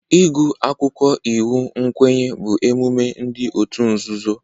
Ịgụ akwụkwọ iwu nkwenye bụ emume ndị otu nzuzo